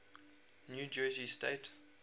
new jersey state